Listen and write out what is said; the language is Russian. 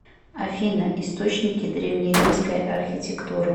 афина источники древнеримская архитектура